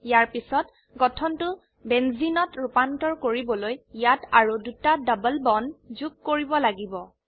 ইয়াৰ পিছতগঠনটো বেঞ্জিনত ৰুপান্তৰ কৰিবলৈ ইয়াত আৰু দুটা ডবল বন্ড যোগ কৰিব লাগিব